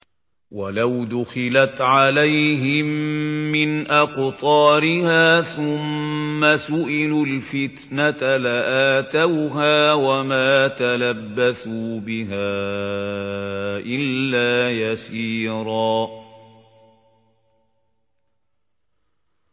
وَلَوْ دُخِلَتْ عَلَيْهِم مِّنْ أَقْطَارِهَا ثُمَّ سُئِلُوا الْفِتْنَةَ لَآتَوْهَا وَمَا تَلَبَّثُوا بِهَا إِلَّا يَسِيرًا